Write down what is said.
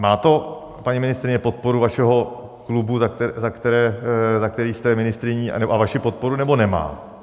Má to, paní ministryně, podporu vašeho klubu, za který jste ministryní, a vaši podporu, nebo nemá?